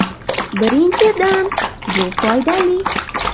Birinchidan, bu foydali.